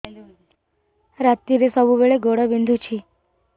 ରାତିରେ ସବୁବେଳେ ଗୋଡ ବିନ୍ଧୁଛି